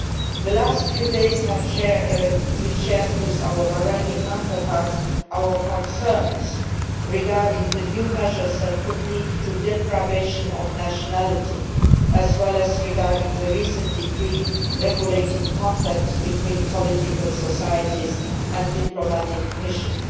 In the last few days we have shared with our Bahraini counterparts our concerns regarding the new measures which could lead to deprivation of nationality, as well as regarding the recent decree regulating contacts between political societies and diplomatic missions.